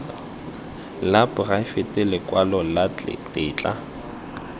la poraefete lekwalo la tetla